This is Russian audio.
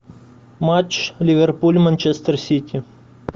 матч ливерпуль манчестер сити